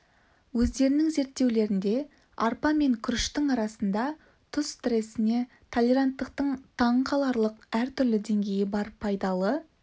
өздерінің зерттеулерінде арпа мен күріштің арасында тұз стресіне толеранттықтың таңқаларлық әртүрлі деңгейі бар пайдалы